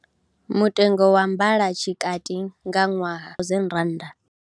Mutengo wa mbalotshikati nga ṅwaha R1000.